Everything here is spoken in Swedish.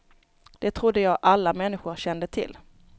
Det trodde jag alla människor kände till.